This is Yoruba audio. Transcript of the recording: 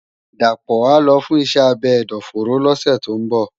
Dapo á lò fùn iṣè ábé ẹdọfóró lòsè tó n bò